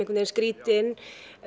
skrítin